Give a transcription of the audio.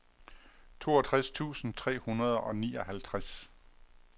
toogtres tusind tre hundrede og nioghalvtreds